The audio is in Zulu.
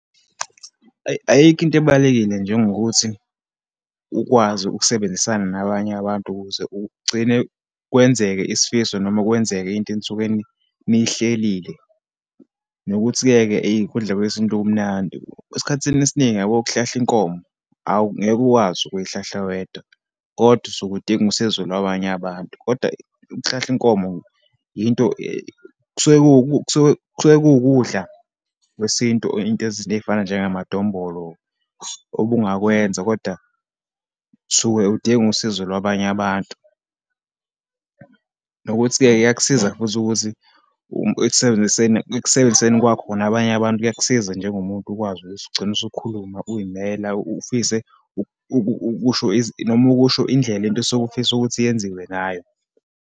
Ayi, ayikho into ebalulekile njengokuthi ukwazi ukusebenzisana nabanye abantu, ukuze ugcine kwenzeke isifiso, noma kwenzeke into enisuke niyihlelile. Nokuthi-ke ke ukudla kwesintu kumnandi. Esikhathini esiningi, uyabo ukuhlahla inkomo, awungeke uwazi ukuyihlahla wedwa, kodwa usuke udinga isizo lwabanye abantu. Kodwa ukuhlahla inkomo, into kusuke , kusuke kuwukudla kwesintu, into ezi eyifana njengamadombolo, obungakwenza kodwa usuke udinga usizo lwabanye abantu. Nokuthi-ke iyakusiza futhi ukuthi ekusebenziseni, ekusebenziseni kwakhona nabanye abantu kuyakusiza njengomuntu ukwazi ukuthi ugcine usukhuluma uyimela, ufise ukusho noma ukusho indlela into osuke ufisa ukuthi yenziwe ngayo.